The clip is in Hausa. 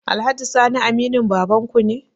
Alhaji sani aminin babanku ne?